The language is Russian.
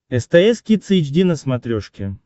стс кидс эйч ди на смотрешке